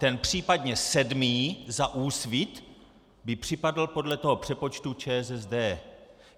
Ten případně sedmý za Úsvit by připadl podle toho přepočtu ČSSD.